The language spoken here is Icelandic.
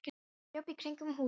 Og hann hljóp í kringum húsið.